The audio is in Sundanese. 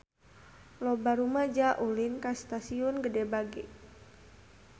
Loba rumaja ulin ka Stasiun Gede Bage